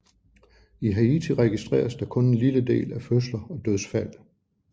I Haiti registreres der kun en lille del af fødsler og dødsfald